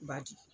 Badi